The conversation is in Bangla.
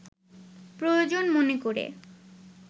প্রয়োজন মনে করে